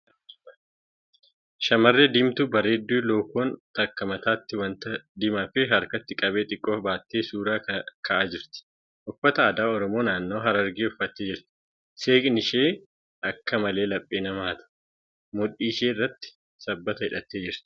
Shamarree diimtuu bareedduu lookoon takka mataatti wanta diimaa fi harkatti qabee xiqqoo baattee suura ka'aa jirti. Uffata aadaa Oromoo naannawaa Harargee uffattee jirti. Seeqni ishee akka malee laphee nama hata. Mudhii ishee irratti sabbata hidhattee jirti.